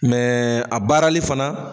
Mɛɛ a baarali fana